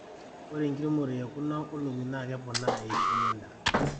ore enkiremore e kuna oleng'I naa keponaa eishoi endaa